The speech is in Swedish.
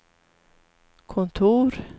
kontor